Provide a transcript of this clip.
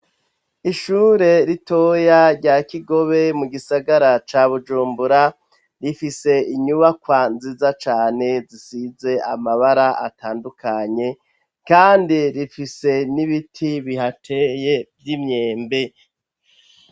Ishure ritoya rya Kigobe mu gisagara ca Bujumbura, rifise inyubakwa nziza cane zisize amabara atandukanye kandi rifise n'ibiti bihateye vy' imyembe.